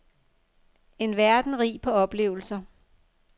En verden rig på oplevelser.